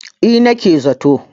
eh nake za to